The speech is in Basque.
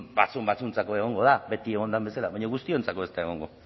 batzuentzat egongo da beti egon den bezala baina guztiontzat ez da egongo